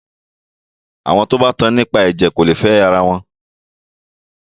Àwọn tí o bá tan nípa ẹ̀jẹ̀ kò lè fẹ ara wọn.